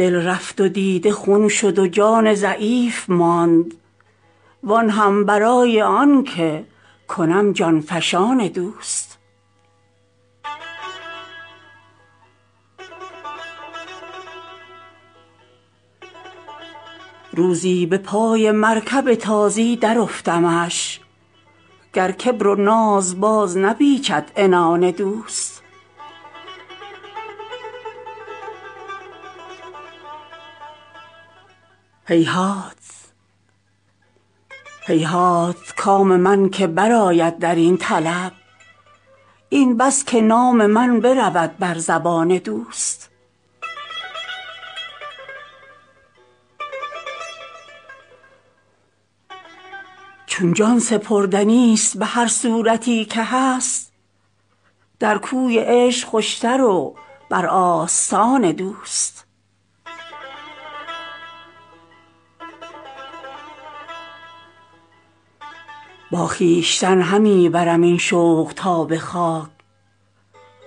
دل رفت و دیده خون شد و جان ضعیف ماند وآن هم برای آن که کنم جان فشان دوست روزی به پای مرکب تازی درافتمش گر کبر و ناز باز نپیچد عنان دوست هیهات کام من که برآید در این طلب این بس که نام من برود بر زبان دوست چون جان سپردنیست به هر صورتی که هست در کوی عشق خوشتر و بر آستان دوست با خویشتن همی برم این شوق تا به خاک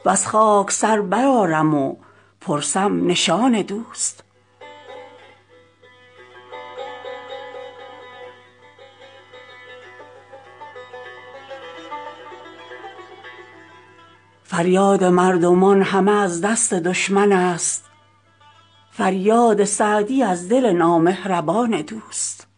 وز خاک سر برآرم و پرسم نشان دوست فریاد مردمان همه از دست دشمن است فریاد سعدی از دل نامهربان دوست